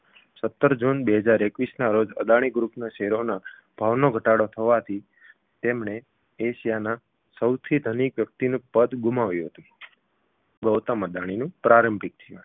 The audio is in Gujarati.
સત્તર જૂન બે હજાર એકવીસના રોજ અદાણી ગ્રુપના શેરોના ભાવમાં ઘટાડો થવાથી તેમણે એશિયાના બીજા સૌથી ધનિક વ્યક્તિનું પદ ગુમાવ્યું હતું ગૌતમ અદાણીનુંં પ્રારંંભિક જીવન